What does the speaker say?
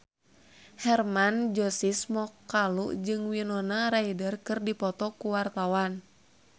Hermann Josis Mokalu jeung Winona Ryder keur dipoto ku wartawan